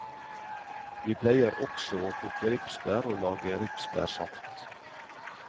Vi pleier også å plukke ripsbær og lage ripsbærsaft.